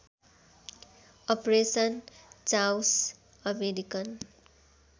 operation Chaos American